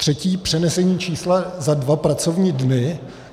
Třetí - přenesení čísla za dva pracovní dny.